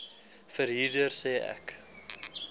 verhuurder sê ek